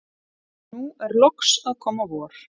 nú er loks að koma vor.